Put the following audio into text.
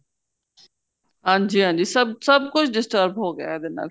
ਹਾਂਜੀ ਹਾਂਜੀ ਸਭ ਸਭ ਕੁੱਝ disturb ਹੋ ਗਿਆ ਇਹਦੇ ਨਾਲ